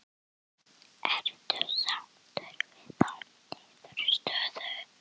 Ertu sáttur við þá niðurstöðu?